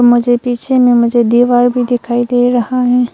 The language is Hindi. मुझे पीछे में मुझे दीवार भी दिखाई दे रहा है।